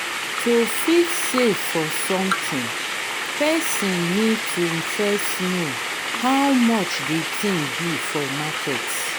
to fit save for something person need to first know how much di thing be for market